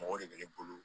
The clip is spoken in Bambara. Mɔgɔ de bɛ ne bolo